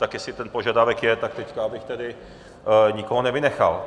Tak jestli ten požadavek je, tak teď abych tedy nikoho nevynechal.